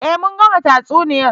Eh mun gama tatsuniyar